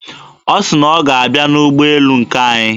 Ọ sị na ọ ga-abịa n'ụgbọelu nke anyị.